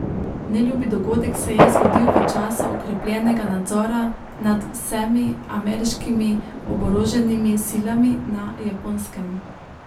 Neljubi dogodek se je zgodil v času okrepljenega nadzora nad vsemi ameriškimi oboroženimi silami na Japonskem.